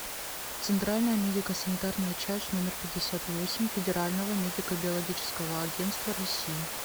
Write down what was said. центральная медико санитарная часть номер пятьдесят восемь федерального медико биологического агентства россии